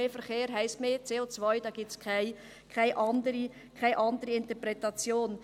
Mehr Verkehr heisst mehr CO, da gibt es keine andere Interpretation.